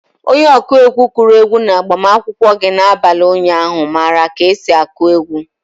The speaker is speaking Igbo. Onye ọkụ egwu kụrụ egwu na-agbamakwụkwọ gị na-abalị ụnyaahụ mara ka esi akụ egwu.